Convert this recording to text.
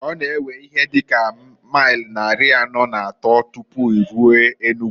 Ọ na ewe ihe dị ka mail nnari anọọ na atọọ tupu iruo Enugu.